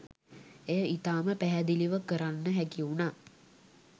එය ඉතාම පැහැදිළිව කරන්න හැකිවුණා.